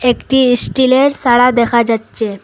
একটি ইস্টিলের সারা দেখা যাচ্ছে।